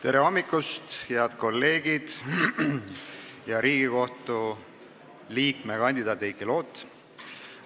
Tere hommikust, head kolleegid ja Riigikohtu liikme kandidaat Heiki Loot!